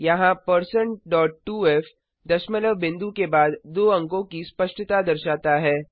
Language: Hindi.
यहाँ1602f दशमलव बिंदु के बाद दो अंकों की स्पष्टता दर्शाता है